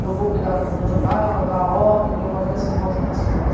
Meu avô cuidava do mandiocal, da horta, e minha avó das rosas e das flores.